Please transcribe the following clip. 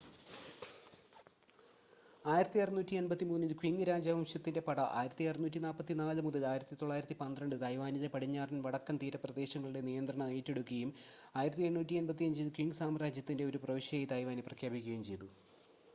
1683-ൽ Qing രാജവംശത്തിന്റെ പട 1644-1912 തായ്‌വാനിലെ പടിഞ്ഞാറൻ വടക്കൻ തീരപ്രദേശങ്ങളുടെ നിയന്ത്രണം ഏറ്റെടുക്കുകയും 1885-ൽ ക്വിങ് സാമ്രാജ്യത്തിന്റെ ഒരു പ്രവിശ്യയായി തായ്‌വാനെ പ്രഖ്യാപിക്കുകയും ചെയ്തു